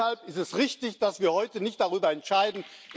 Deshalb ist es richtig, dass wir heute nicht darüber entscheiden.